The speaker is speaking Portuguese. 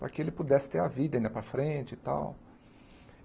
Para que ele pudesse ter a vida ainda para frente e tal.